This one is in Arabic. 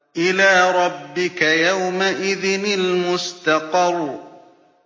إِلَىٰ رَبِّكَ يَوْمَئِذٍ الْمُسْتَقَرُّ